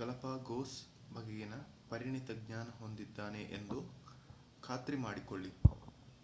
Galapagos ಬಗೆಗಿನ ಪರಿಣಿತ ಜ್ಞಾನ ಹೊಂದಿದ್ದಾನೆ ಎಂದು ಖಾತ್ರಿ ಮಾಡಿಕೊಳ್ಳಿ